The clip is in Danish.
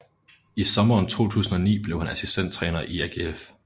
I sommeren 2009 blev han assistenttræner i AGF